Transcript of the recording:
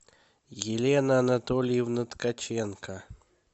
елена анатольевна ткаченко